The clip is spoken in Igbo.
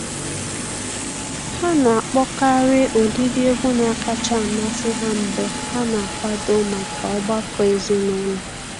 Ha na-akpọkarị ụdịdị egwu na-akacha amasị ha mgbe ha na-akwado maka ọgbakọ ezinụlọ.